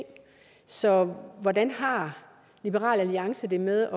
så hvordan har liberal alliance det med